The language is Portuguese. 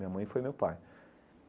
Minha mãe foi meu pai.